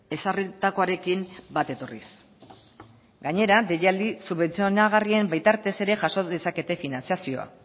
ezarritakoarekin bat etorriz gainera deialdi subentzionagarrien bitartez ere jaso dezakete finantzazioa